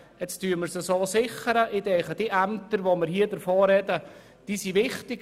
Die Ämter, von denen ich spreche, sind für den ganzen Kanton Bern wichtig.